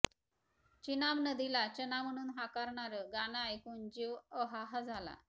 चिनाब नदीला चना म्हणून हाकारणारं गाणं ऐकून जीव अहाहा झाला